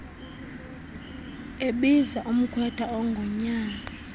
ebiza umkhwetha ongunyana